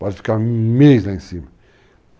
Pode ficar um mês lá em cima.